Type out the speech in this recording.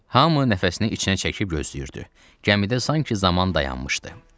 Hamı nəfəsini içinə çəkib gözləyirdi, gəmidə sanki zaman dayanmışdı.